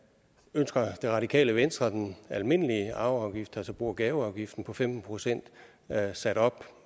ønsker det radikale venstre den almindelige arveafgift altså bo og gaveafgiften på femten procent sat op